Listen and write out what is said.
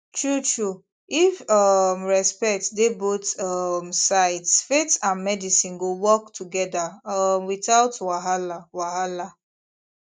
truetrue if um respect dey both um sides faith and medicine go work together um without wahala wahala